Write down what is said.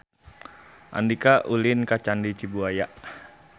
Andika ulin ka Candi Cibuaya